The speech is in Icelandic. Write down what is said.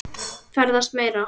Ferðast meira.